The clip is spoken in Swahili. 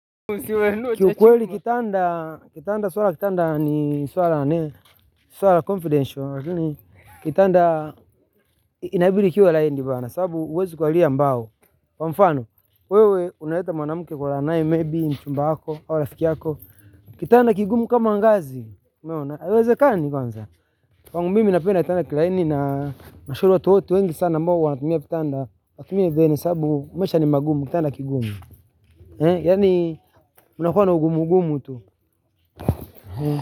Kiukweli kitanda, kitanda la suala, kitanda ni suala, suala confidential, lakini kitanda inabidii kiwe laini bana, kwa sababu huwezi kulalia mbao. Kwa mfano, wewe umeleta mwanamke kulala naye maybe ni mchumba wako au rafiki yako kitanda kigumu kama ngazi. Umeona, haiwezekani kwanza. Kwangu mimi napenda kitanda kilaini na, nashauri watu wote wengi sana ambao wanatumia kitanda, wasiumie zaidi sababu, maisha ni magumu, kitanda kigumu. Kunakuwa na ugumu-gumu tu.